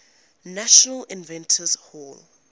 national inventors hall